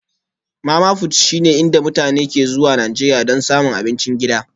Mama-fut shine inda mutane ke zuwa Najeriya don samun abincin gida